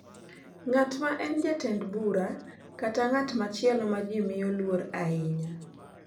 Ng’at ma en jatend bura, kata ng’at machielo ma ji miyo luor ahinya,